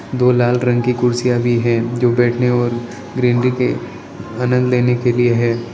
दो लाल रंग की कुर्सियां भी है जो बैठने और ग्रीनरी के आनंद लेने के लिए है।